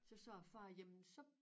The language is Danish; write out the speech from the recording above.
Så sagde æ far jamen så